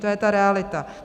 To je ta realita.